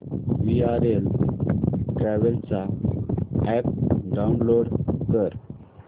VRL travels चा app download कर